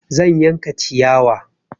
Zan yanka ciyawa.